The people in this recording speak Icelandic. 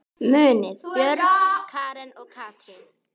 Munið Björg, Karen og Katrín.